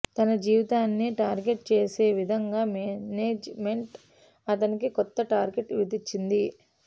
తన జీవితాన్నే టార్గెట్ చేసే విధంగా మేనేజ్ మెంట్ అతనికి కొత్త టార్గెట్ విధించింది